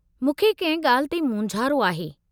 मूंखे किंहिं ॻाल्हि ते मोंझारो आहे।